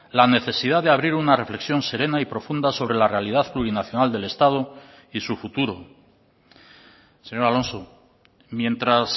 la necesidad de abrir una reflexión serena y profunda sobre la realidad plurinacional del estado y su futuro señor alonso mientras